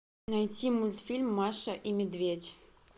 найти мультфильм маша и медведь